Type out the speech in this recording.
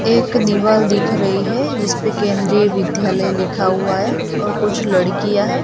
एक दीवाल दिख रही है जिसपे केंद्रीय विध्यालय लिखा हुआ है और कुछ लड़किया है।